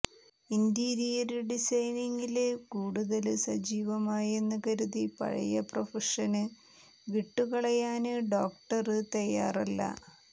interior ഡിസൈനിങ്ങില് കൂടുതല് സജീവമായെന്ന് കരുതി പഴയ പ്രഫഷന് വിട്ടുകളയാന് ഡോക്ടര് തയാറല്ല